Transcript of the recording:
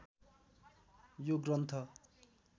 यो ग्रन्थ